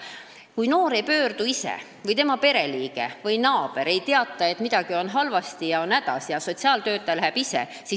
Vahel on nii, et noor ise ei pöördu või tema pereliige või naaber ei teata, et midagi on halvasti, keegi on hädas, aga sotsiaaltöötaja läheb ise kohale.